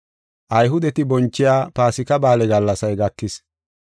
Ayhudeti bonchiya Paasika Ba7aale gallasay gakis.